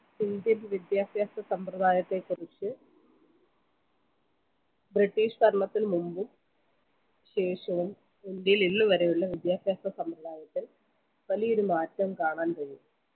indian വിദ്യാഭ്യാസ സമ്പ്രദായത്തെ കുറിച്ച് british ഭരണത്തിന് മുമ്പും ശേഷവും ഇന്ത്യയിൽ ഇന്ന് വരെയുള്ള വിദ്യാഭ്യാസ സമ്പ്രദായത്തിൽ വലിയൊരു മാറ്റം കാണാൻ കഴിയും